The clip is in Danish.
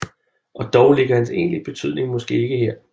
Og dog ligger hans egentlige betydning måske ikke her